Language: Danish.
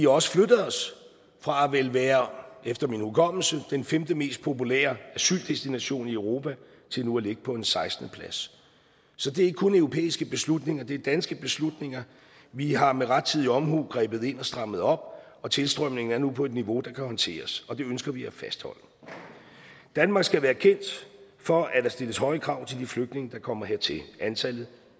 også flyttet os fra at være efter min hukommelse femte mest populære asyldestination i europa til nu at ligge på en sekstende plads så det er ikke kun europæiske beslutninger det er danske beslutninger vi har med rettidig omhu grebet ind og strammet op og tilstrømningen er nu på et niveau der kan håndteres og det ønsker vi at fastholde danmark skal være kendt for at der stilles høje krav til de flygtninge der kommer hertil antallet